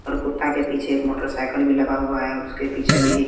और कुत्ता के पीछे एक मोटरसाइकिल भी लगा हुआ है उसके पीछे भी--